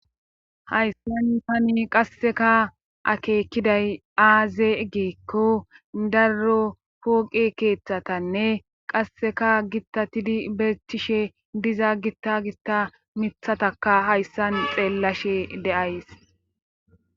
Hayssan pani qasseka akeekiday aaze egeekko darro pooqe keeththatanne qasseka gittatidi betishe diza gitta gista mithataka hayssan xeellashe deays.